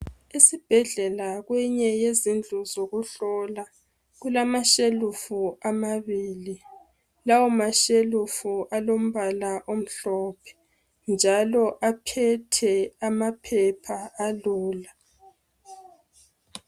Esibhedlela kweyinye yezindlu zokuhlola kulamashelufu amabili lawo mashelufu alombala omhlophe njalo aphethe amaphepha alula.